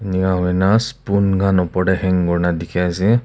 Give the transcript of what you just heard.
enaka kurina spoon kan opor teh hang kurina teki ase.